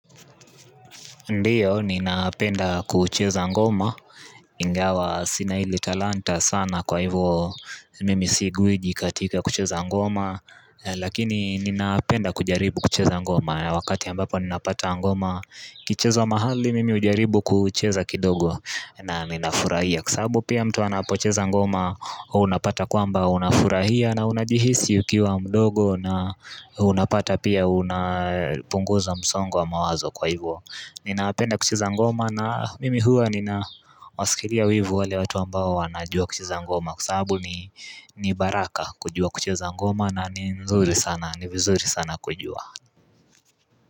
Ndiyo ninapenda kucheza ngoma ingawa sina hili talanta sana kwa hivo mimi si gwiji katika kucheza ngoma Lakini ninapenda kujaribu kucheza ngoma na wakati ambapo ninapata ngoma ikichezwa mahali mimi hujaribu kucheza kidogo na ninafurahia kwa sababu pia mtu anapocheza ngoma unapata kwamba unafurahia na unajihisi ukiwa mdogo na unapata pia unapunguza msongo wa mawazo kwa hivo, ninapenda kucheza ngoma na mimi hua nina wasikilia wivu wale watu ambao wanajua kucheza ngoma kwa sababu ni baraka kujua kucheza ngoma na nzuri sana vizuri sana kujua.